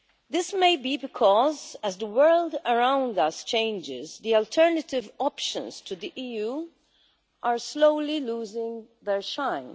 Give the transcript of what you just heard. This may be because as the world around us changes, the alternative options to the EU are slowly losing their shine.